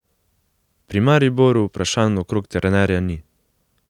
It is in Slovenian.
Pri Mariboru vprašanj okrog trenerja ni.